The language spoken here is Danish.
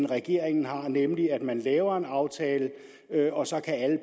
regeringen har nemlig at man laver en aftale og så kan